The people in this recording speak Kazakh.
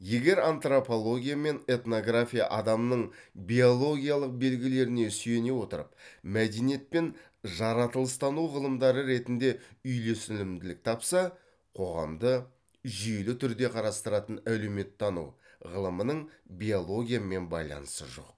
егер антропология мен этнография адамның биологиялық белгілеріне сүйене отырып мәдениетпен жаратылыстану ғылымдары ретінде үйлесілімділік тапса қоғамды жүйелі түрде қарастыратын әлеуметтану ғылымының биологиямен байланысы жоқ